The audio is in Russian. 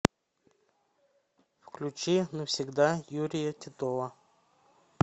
включи навсегда юрия титова